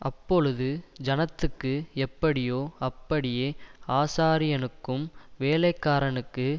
அப்பொழுது ஜனத்துக்கு எப்படியோ அப்படியே ஆசாரியனுக்கும் வேலைக்காரனுக்கு